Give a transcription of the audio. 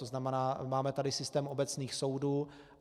To znamená, máme tady systém obecných soudů.